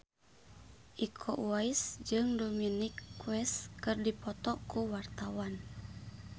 Iko Uwais jeung Dominic West keur dipoto ku wartawan